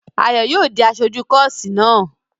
Ayò yóò di aṣojú kọ́ọ́sì náà!